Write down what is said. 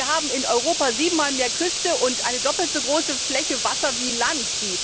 Wir haben in Europa sieben Mal mehr Küste und eine doppelt so große Fläche Wasser wie Land.